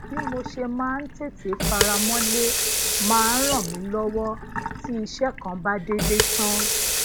bí mo ṣe máa ń tètè faramole maa n ran mi lowo ti ise kan ba dede tan